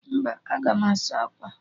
Mba, aga m asa akwa